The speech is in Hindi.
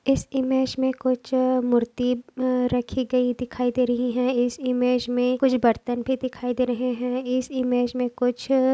इस इमेज में कुछ अ मूर्ति अ रखी गयी दिखाई दे रही हैं इस इमेज में कुछ बर्तन भी दिखाई दे रहे हैं इस इमेज में कुछ--